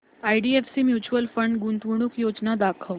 IDFC mutual fund गुंतवणूक योजना दाखव